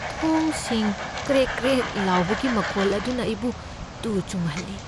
ꯊꯣꯡꯁꯤꯡ ꯀ꯭ꯔꯦꯛ ꯀ꯭ꯔꯦꯛ ꯂꯥꯎꯕꯒꯤ ꯃꯈꯣꯜ ꯑꯗꯨꯅ ꯑꯩꯕꯨ ꯇꯨ ꯆꯨꯡꯍꯜꯂꯤ꯫